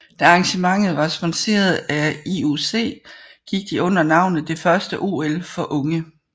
Da arrangementet var sponsoreret af IOC gik de under navnet det første OL for unge